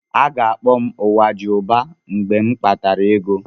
A ga-akpọ m "Nwajiụba" mgbe m nwetara ego.